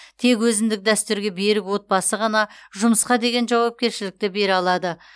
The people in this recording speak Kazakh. тек өзіндік дәстүрге берік отбасы ғана жұмысқа деген жауапкершілікті бере алады